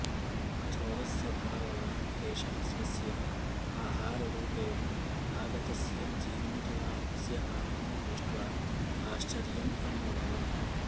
कठोरस्वभाववान् एषः स्वस्य आहाररूपेण आगतस्य जीमूतवाहनस्य आनन्दं दृष्ट्वा आश्चर्यम् अन्वभवत्